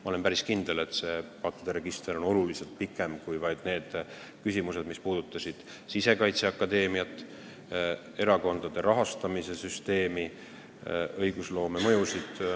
Ma olen päris kindel, et see pattude register on oluliselt pikem kui vaid need küsimused, mis puudutasid Sisekaitseakadeemiat, erakondade rahastamise süsteemi, õigusloome mõju.